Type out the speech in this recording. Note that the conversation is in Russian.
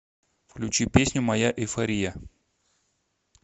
включи песню моя эйфория